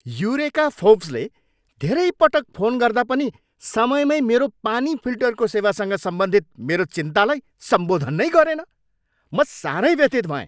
Eureka फोर्ब्सले धेरै पटक फोन गर्दा पनि समयमै मेरो पानी फिल्टरको सेवासँग सम्बन्धित मेरो चिन्तालाई सम्बोधन नै गरेन। म साह्रै व्यथित भएँ।